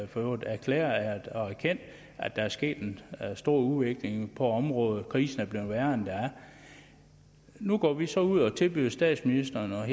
for øvrigt erklæret og erkendt at der er sket en stor udvikling på området krisen er blevet værre værre nu går vi så ud og tilbyder statsministeren og